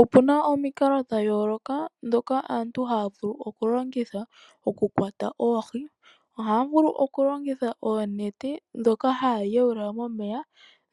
Opuna omikalo dhayooloka dhoka aantu haya vulu okulongitha okukwata oohi. Ohaya vulu okulongitha oonete dhoka haya yuula momeya